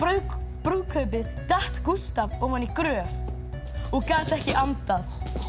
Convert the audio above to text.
brúðkaupið datt Gústaf ofan í gröf og gat ekki andað